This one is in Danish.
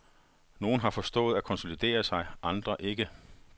Nogen har forstået at konsolidere sig, andre ikke.